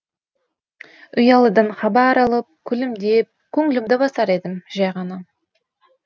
ұялыдан хабар алып күлімдеп көңілімді басар едім жай ғана